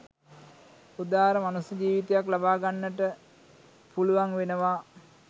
උදාර මනුස්ස ජීවිතයක් ලබාගන්නට පුළුවන් වෙනවා